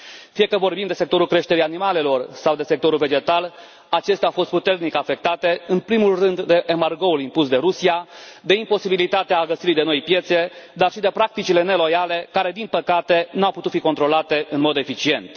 Fie că vorbim de sectorul creșterii animalelor fie de sectorul vegetal, acestea au fost puternic afectate în primul rând de embargoul impus de Rusia, de imposibilitatea găsirii de noi piețe, dar și de practicile neloiale, care, din păcate, nu au putut fi controlate în mod eficient.